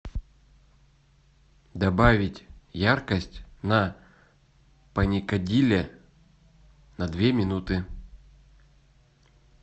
добавить яркость на паникадиле на две минуты